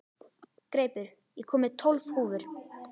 Greipur, ég kom með tólf húfur!